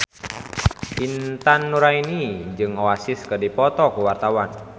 Intan Nuraini jeung Oasis keur dipoto ku wartawan